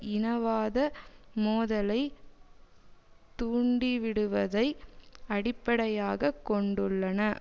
இனவாத மோதலை தூண்டிவிடுவதை அடிப்படையாக கொண்டுள்ளன